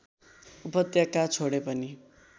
उपत्यका छोडे पनि